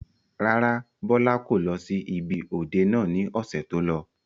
Rárá, Bọlá kò lọ sí ibi òde náà ni ọ̀sẹ̀ tó lọ.